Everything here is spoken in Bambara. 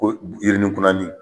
Ko yirinikunnani